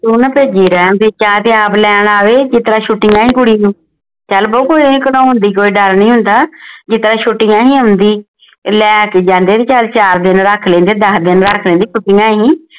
ਤੂੰ ਨਾ ਭੇਜੀ ਰਹਿਣ ਦੇ ਚਾਹ ਤੇ ਆਪ ਲੈਣ ਆਵੇ ਜਿਸ ਤਰ੍ਹਾਂ ਛੁਟੀਆਂ ਈ ਕੁੜੀ ਨੂੰ ਚੱਲ ਬਉ ਕੋਈ ਇਹ ਕਢਾਉਣ ਦੀ ਇਹ ਕੋਈ ਡਰ ਨਹੀਂ ਹੁੰਦਾ ਜਿਸ ਤਰ੍ਹਾਂ ਛੁਟਿਆ ਸੀ ਆਉਂਦੀ ਲੈ ਕੇ ਜਾਂਦੇ ਤੇ ਚੱਲ ਚਾਰ ਦਿਨ ਰਖ ਲੈਂਦੇ ਦੱਸ ਦਿਨ ਰੱਖ ਲੈਂਦੇ ਛੁਟੀਆਂ ਸੀ